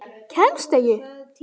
Kemstu ekki?